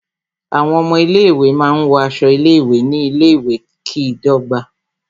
Àwọn ọmọ ilé ìwé máa ń wọ aṣọ ilé ìwé ní ilé ìwé, kí ìdọ́gba